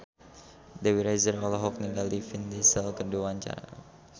Dewi Rezer olohok ningali Vin Diesel keur diwawancara